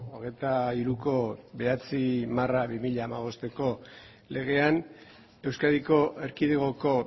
hogeita hiruko bederatzi barra bi mila hamabosteko legean euskadiko erkidegoko